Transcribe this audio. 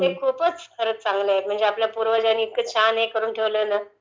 हे खूपचं खरचं चांगल आहे...आपल्या पूर्वजांनी एवढं छान हे करुन ठेवलयं ना...